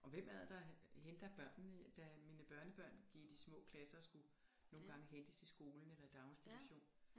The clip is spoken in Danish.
Og hvem er det der henter børnene da mine børnebørn gik i de små klasser og skulle nogle gange hentes i skolen eller i daginstitution